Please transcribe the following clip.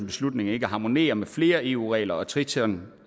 beslutning ikke harmonerer med flere eu regler og triton